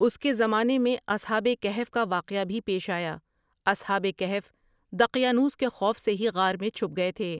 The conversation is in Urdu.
اسی کے زمانے میں اصحاب کہف کا واقعہ بھی پیش آیا اصحاب کہف دقیانوس کے خوف سے ہی غار میں چھپ گئے تھے ۔